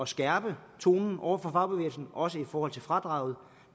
skærpe tonen over for fagbevægelsen også i forhold til fradraget og